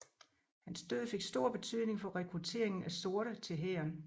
Hans død fik stor betydning for rekrutteringen af sorte til hæren